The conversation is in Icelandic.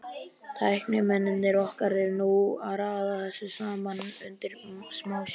Tæknimennirnir okkar eru núna að raða þessu saman undir smásjá.